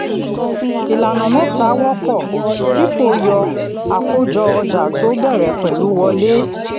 ìlànà mẹ́ta wọ́pọ̀: fifo yọ àkójọ ọjà tó bẹ̀rẹ̀ pẹ̀lú wọlé.